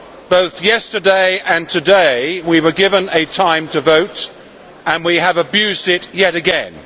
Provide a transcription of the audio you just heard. Both yesterday and today, we were given a time to vote, and we have abused it yet again.